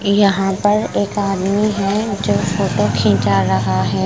यहां पर एक आदमी है जो फोटो खीचा रहा है।